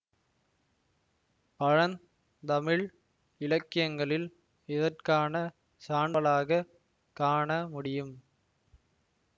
பழந் தமிழ் இலக்கியங்களில் இதற்கான சான்றலாகக் காணமுடியும்